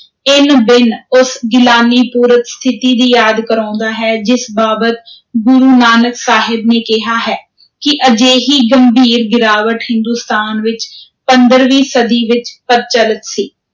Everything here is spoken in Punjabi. ਇੰਨ-ਬਿੰਨ ਉਸ ਗਿਲਾਨੀਪੁਰਤ ਸਥਿਤੀ ਦੀ ਯਾਦ ਕਰਵਾਉਂਦਾ ਹੈ, ਜਿਸ ਬਾਬਤ ਗੁਰੂ ਨਾਨਕ ਸਾਹਿਬ ਨੇ ਕਿਹਾ ਹੈ ਕਿ ਅਜਿਹੀ ਗੰਭੀਰ ਗਿਰਾਵਟ, ਹਿੰਦੁਸਤਾਨ ਵਿਚ ਪੰਦਰ੍ਹਵੀਂ ਸਦੀ ਵਿਚ ਪ੍ਰਚਲਿਤ ਸੀ।